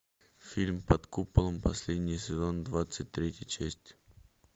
фильм под куполом последний сезон двадцать третья часть